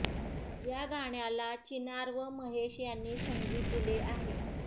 या गाण्याला चिनार व महेश यांनी संगीत दिले आहे